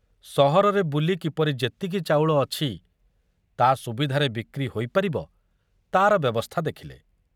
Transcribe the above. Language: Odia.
ସହରରେ ବୁଲି କିପରି ଯେତିକି ଚାଉଳ ଅଛି ତା ସୁବିଧାରେ ବିକ୍ରି ହୋଇପାରିବ ତାର ବ୍ୟବସ୍ଥା ଦେଖିଲେ।